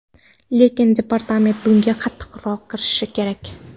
Lekin departament bunga qattiqroq kirishishi kerak.